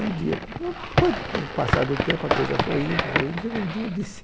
Um dia, foi, foi com o passar do tempo, a coisa foi indo, foi indo, chegou um dia eu disse...